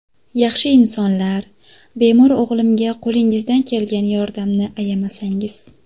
Yaxshi insonlar, bemor o‘g‘limga qo‘lingizdan kelgan yordamni ayamasangiz.